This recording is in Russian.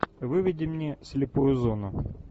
выведи мне слепую зону